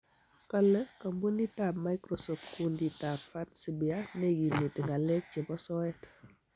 kale kampunit ab Microsoft kundit ab "Fancy Bear " neikimiti ng'alek chebo soet